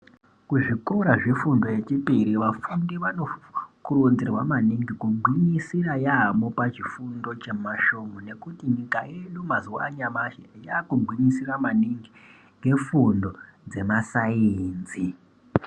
Kuzvikora zvefundo yechipiri vafundi vanokurudzirwa maningi kugwinyisira yambo pachifundo chemasvomhu ngekuti nyika yedu mazuva anyamashi yakugwinyisira maningi ngefundo dzemasainzi.